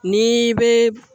N'i bɛ